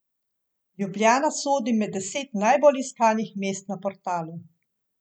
Ljubljana sodi med deset najbolj iskanih mest na portalu.